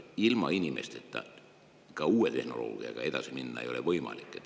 Ilma inimesteta ei ole ka uue tehnoloogiaga edasi minna võimalik.